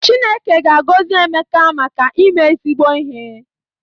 Chineke ga-agọzi Emeka maka ime ezigbo ihe